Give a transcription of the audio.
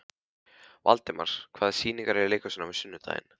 Valdimar, hvaða sýningar eru í leikhúsinu á sunnudaginn?